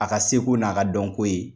A ka seko n'a ka dɔnko ye.